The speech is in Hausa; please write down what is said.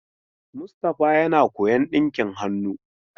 Mustapha yana koyon dinki hannu.